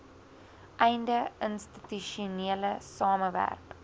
einde institusionele samewerk